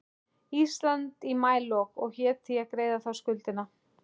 Íslands í maílok og hét því að greiða þá skuldina.